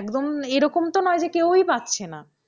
একদম এরকম তো নয় যে কেউই পাচ্ছে না।